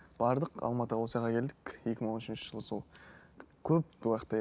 бардық алматыға келдік екі мың он үшінші жылы сол көп